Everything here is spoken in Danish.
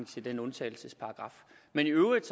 til den undtagelsesparagraf men i øvrigt